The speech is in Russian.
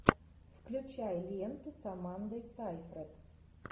включай ленту с амандой сайфред